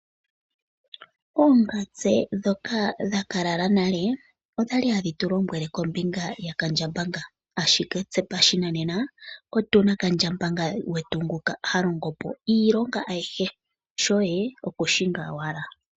Oongatse dhoka dhaka lala nale, okwali hadhi tu lombwele kombinga ya kandjambanga, ashike tse pashinanena otuna kandjambanga gwetu ngoka ha longopo iilonga ayihe shoye oku shinga owala.